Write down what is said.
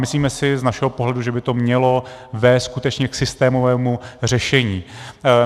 Myslíme si z našeho pohledu, že by to mělo vést skutečně k systémovému řešení.